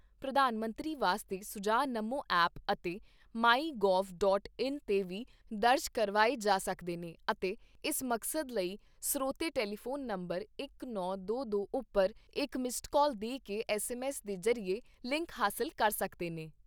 ਪ੍ਰਧਾਨ ਮੰਤਰੀ ਵਾਸਤੇ ਸੁਝਾਅ ਨਮੋ ਐਪ ਅਤੇ ਮਾਈ ਗੋਵ ਡਾਟ ਇਨ ਤੇ ਵੀ ਦਰਜ ਕਰਵਾਏ ਜਾ ਸਕਦੇ ਨੇ ਅਤੇ ਇਸ ਮਕਸਦ ਲਈ ਸ੍ਰੋਤੇ ਟੈਲੀਫੋਨ ਨੰਬਰ ਇਕ, ਨੌ, ਦੋ, ਦੋ ਉੱਪਰ ਇਕ ਮਿੱਸਡ ਕਾਲ ਦੇ ਕੇ ਐੱਸਐੱਮਐੱਸ ਦੇ ਜ਼ਰੀਏ ਲਿੰਕ ਹਾਸਲ ਕਰ ਸਕਦੇ ਨੇ।